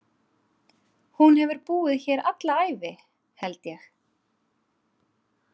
Hún hefur búið hér alla ævi, held ég.